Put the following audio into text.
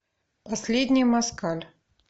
последний москаль